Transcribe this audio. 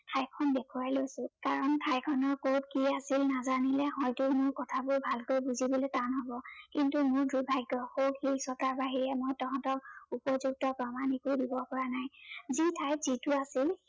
ঠাইখন দেখুৱাই লৈছো। কাৰন ঠাইখনৰ ওপৰত কি আছিল নাজানিলে হয়তো মোৰ কথাবোৰ ভালকৈ বুজিবলৈ টান হব। কিন্তু মোৰ দুৰ্ভাগ্য়, সৌ শিলচটাৰ বাহিৰে মই তহঁতক উপযুক্ত প্ৰমান একো দিব পৰা নাই, যি ঠাইত যিটো আছিল